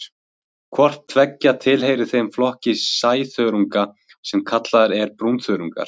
Hvort tveggja tilheyrir þeim flokki sæþörunga sem kallaður er brúnþörungar.